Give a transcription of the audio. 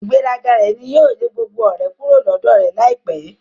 Ígbèraga rẹ ní yóò lè gbogbo ọ̀rẹ́ kúrò lọ́dọ̀ rẹ láìpẹ́.